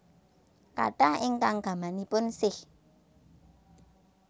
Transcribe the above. Kathah ingkang gamanipun Sikh